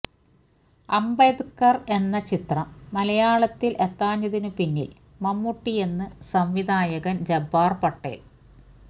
അംബദ്കർ എന്ന ചിത്രം മലയാളത്തിൽ എത്താഞ്ഞതിനു പിന്നിൽ മമ്മൂട്ടിയെന്ന് സംവിധായകൻ ജബ്ബാർ പട്ടേൽ